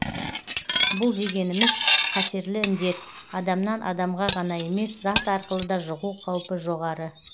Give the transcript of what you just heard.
бұл дегеніміз қатерлі індет адамнан адамға ғана емес зат арқылы да жұғу қаупі жоғары